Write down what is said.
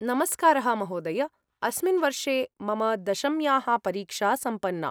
नमस्कारः महोदय! अस्मिन् वर्षे मम दशम्याः परीक्षा सम्पन्ना।